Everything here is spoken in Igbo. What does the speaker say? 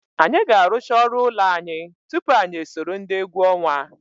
Anyị ga-arụcha ọrụ ụlọ anyị tupu anyị esoro ndị egwu ọnwa.